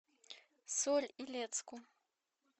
соль илецку